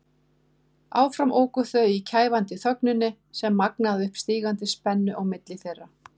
Áfram óku þau í kæfandi þögninni sem magnaði upp stígandi spennu á milli þeirra.